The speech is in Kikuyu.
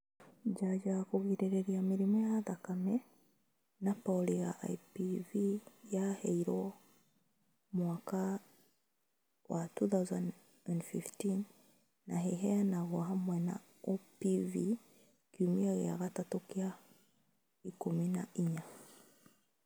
Njanjo ya kũgirĩrĩria mĩrimũ ya thakame na polio ya IPV yarehirwo mwaka wa 2015 na iheanagwo hamwe na OPV kiumia kĩa gatatũ na kĩa ikũmi na inya